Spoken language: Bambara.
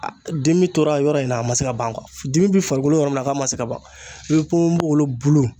Aa dimi tora yɔrɔ in na a ma se ka ban kuwa dimi bi farikolo yɔrɔ min na k'a ma se ka ban i be ponponpogolon bulu